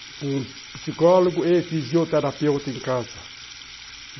Com psicólogo e fisioterapeuta em casa.